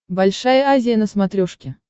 большая азия на смотрешке